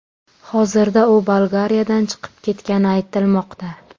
Hozirda u Bolgariyadan chiqib ketgani aytilmoqda.